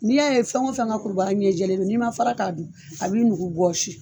N'i y'a ye fɛn o fɛn ka kulubaga ɲɛ jɛlen don n'i ma fara k'a dun a b'i nugu bɔsi